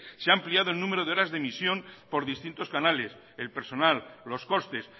se ha ampliado el número de horas de emisión por distintos canales el personal los costes